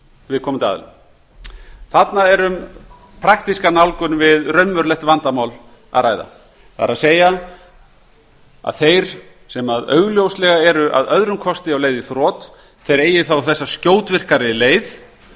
viðkomandi aðila þarna er um praktíska nálgun við raunverulegt vandamál að ræða það er að þeir sem að öðrum kosti eru augljóslega á leið í þrot eigi þá þessa skjótvirkari leið